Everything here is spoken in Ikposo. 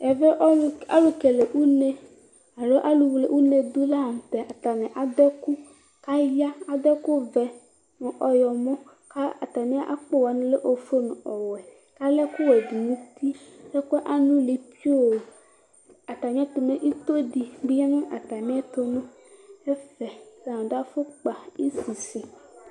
Ɛvɛ alʋkele une alo alʋwle une dʋ layɛ atani adʋ ɛkʋ kʋ aya adʋ ɛkʋvɛ ɔyɔmɔ kʋ atami akpo wani lɛ ofue nʋ owɛ kʋ akɛ ɛkʋdi nʋ ʋti ɛkʋɛ anʋli pioo atami ɛtʋ mɛ ito di bi yanʋ atamiisisi ɛtʋ nʋ ɛfɛ atani adʋ afʋkpa